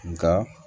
Nka